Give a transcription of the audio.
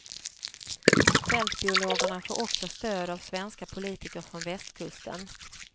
Fältbiologerna får också stöd av svenska politiker från västkusten.